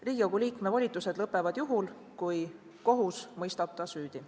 Riigikogu liikme volitused lõppevad juhul, kui kohus mõistab ta süüdi.